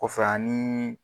O fɛ anii